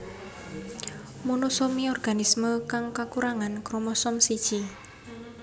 Monosomi organisme kang kakurangan kromosom siji